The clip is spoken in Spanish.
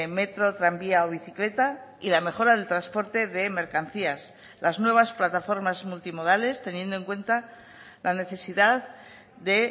metro tranvía o bicicleta y la mejora del transporte de mercancías las nuevas plataformas multimodales teniendo en cuenta la necesidad de